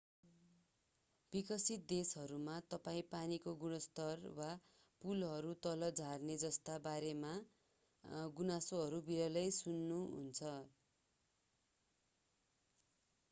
विकसित देशहरूमा तपाईं पानीको गुणस्तर वा पुलहरू तल झर्ने जस्ता बारेमा गुनासोहरू विरलै सुन्नुहुन्छ